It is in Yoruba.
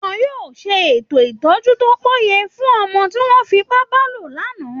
Wọ́n yóò ṣètò ìtọ́jú tó péye fún ọmọ tí wọ́n fi ipá bá lòpọ̀ lánàá